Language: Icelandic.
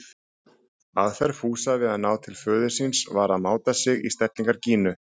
Aðferð Fúsa við að ná til föður síns var að máta sig í stellingar Gínu.